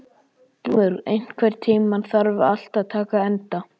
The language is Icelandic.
Glúmur, einhvern tímann þarf allt að taka enda.